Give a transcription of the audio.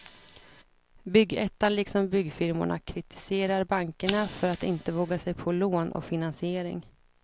Byggettan liksom byggfirmorna kritiserar bankerna för att inte våga sig på lån och finansiering.